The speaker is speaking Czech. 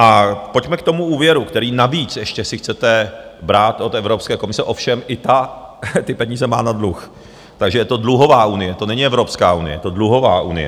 A pojďme k tomu úvěru, který navíc - ještě si chcete brát od Evropské komise, ovšem i ta ty peníze má na dluh, takže je to dluhová unie, to není Evropská unie, je to dluhová unie.